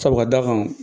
Sabu ka d'a kan